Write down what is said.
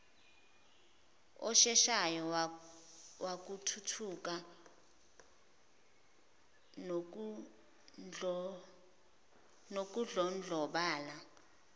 osheshayo wokuthuthuka nokudlondlobala